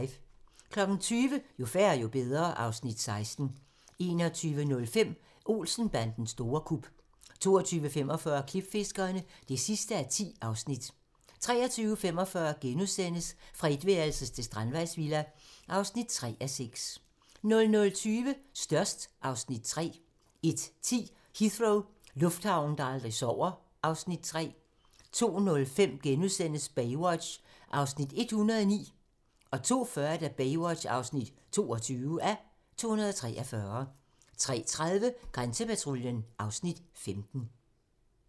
20:00: Jo færre, jo bedre (Afs. 16) 21:05: Olsen-bandens store kup 22:45: Klipfiskerne (10:10) 23:45: Fra etværelses til strandvejsvilla (3:6)* 00:20: Størst (Afs. 3) 01:10: Heathrow - lufthavnen, der aldrig sover (Afs. 3) 02:05: Baywatch (109:243)* 02:40: Baywatch (22:243) 03:30: Grænsepatruljen (Afs. 15)